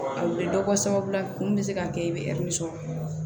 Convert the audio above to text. A u bɛ dɔ bɔ sababu la kun bɛ se ka kɛ i bɛ ɛri sɔrɔ